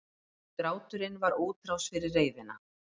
Gráturinn var útrás fyrir reiðina.